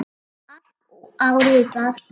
Allt áritað.